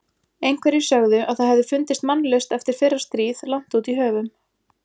Einhverjir sögðu að það hefði fundist mannlaust eftir fyrra stríð langt út í höfum.